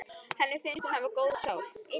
Henni finnst hún hafa góða sál.